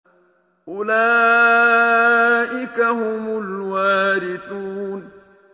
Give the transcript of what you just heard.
أُولَٰئِكَ هُمُ الْوَارِثُونَ